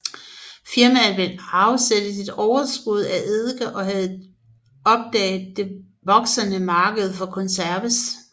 Firmaet ville afsætte sit overskud af eddike og havde opdaget det voksende marked for konserves